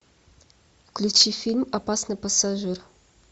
включи фильм опасный пассажир